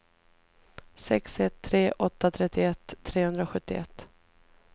sex ett tre åtta trettioett trehundrasjuttioett